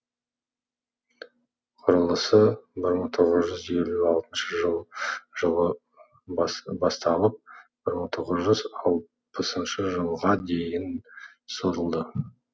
құрылысы бір мың тоғыз жүз елу алтыншы жылы басталып бір мың тоғыз жүз алпысыншы жылға дейін созылды